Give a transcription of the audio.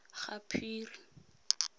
gaphiri